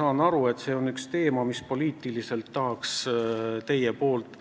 Ma saan aru, et see on üks teema, mille te tahaksite poliitiliselt